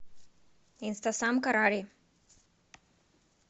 инстасамка рари